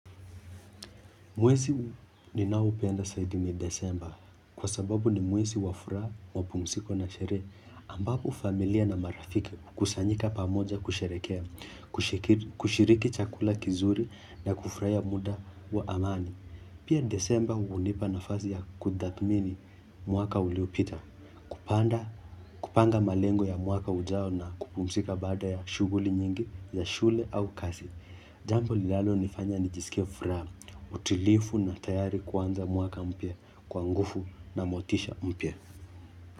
Mwezi ninaopenda zaidi ni desemba kwa sababu ni mwezi wa furaha, mapumziko na sherehe ambapo familia na marafiki hukusanyika pamoja kusherehekea, kushiriki chakula kizuri na kufurahia muda wa amani. Pia disemba hunipa na fazi ya kutathmini mwaka uliopita. Kupanda, kupanga malengo ya mwaka ujao na kupumzika baada ya shughuli nyingi ya shule au kazi. Jambo lilalonifanya nijisikie furaha, utulivu na tayari kuanza mwaka mpya, kwa nguvu na motisha mpya.